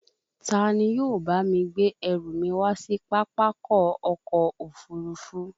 Ta ni yóò bá mi gbé ẹrù mi wá sí Pápákọ̀ ọkọ̀ òfurufú